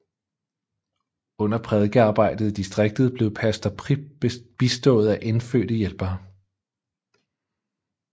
Under prædikearbejdet i distriktet blev pastor Prip bistået af indfødte hjælpere